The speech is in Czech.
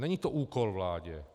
Není to úkol vládě.